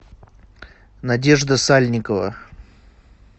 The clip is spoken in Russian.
надежда сальникова